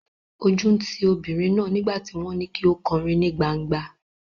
Ojú ń ti obìnrin náà nígbà tí wọ́n ní kí ó kọrin ní gban̄gba.